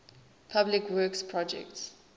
public works projects